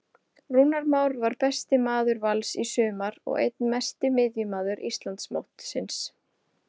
Rúnar Már var besti maður Vals í sumar og einn mesti miðjumaður Íslandsmótsins.